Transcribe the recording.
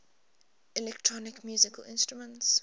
electronic musical instruments